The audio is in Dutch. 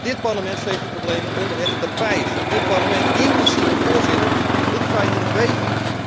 Dit parlement veegt de problemen onder het tapijt, dit parlement inclusief de voorzitter wil die feiten niet weten.